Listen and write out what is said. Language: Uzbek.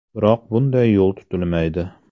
Biroq bunday yo‘l tutilmaydi.